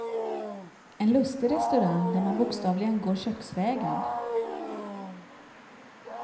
En lustig restaurang där man bokstavligen går köksvägen.